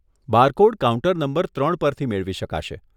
Barcode counter number ત્રણ પરથી મેળવી શકાશે.